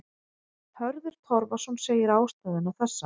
Hörður Torfason segir ástæðuna þessa.